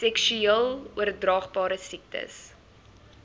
seksueel oordraagbare siektes